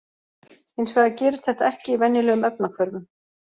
Hins vegar gerist þetta ekki í venjulegum efnahvörfum.